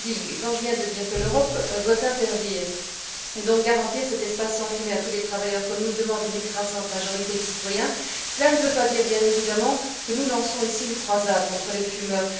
Quand je viens de dire que l'Europe doit interdire, et donc garantir, cet espace sans fumée à tous les travailleurs comme nous le demande une écrasante majorité de citoyens, cela ne veut pas dire, bien évidemment, que nous lançons ici une croisade contre les fumeurs.